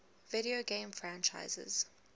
video game franchises